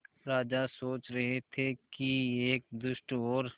राजा सोच रहे थे कि एक दुष्ट और